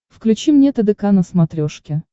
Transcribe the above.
включи мне тдк на смотрешке